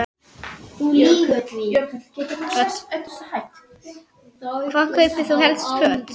Hvar kaupir þú helst föt?